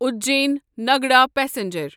Ujjain Nagda passenger